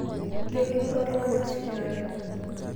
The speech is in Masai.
kengu ilo tungani osigara